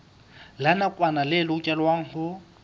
la nakwana le lokelwang ho